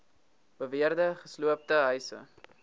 beweerde gesloopte huise